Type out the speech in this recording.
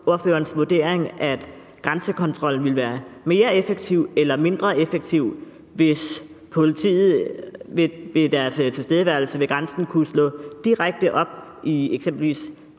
ordførerens vurdering at grænsekontrollen ville være mere effektiv eller mindre effektiv hvis politiet ved deres tilstedeværelse ved grænsen kunne slå direkte op i eksempelvis